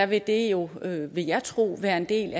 vil det jo vil jeg tro være en del